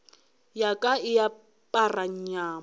ya ka e apara nyamo